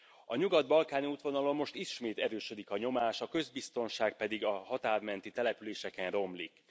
A nyugat balkáni útvonalon most ismét erősödik a nyomás, a közbiztonság pedig a határmenti településeken romlik.